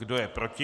Kdo je proti?